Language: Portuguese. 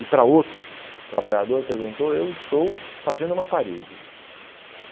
E para outro trabalhador perguntou, eu estou fazendo uma parede.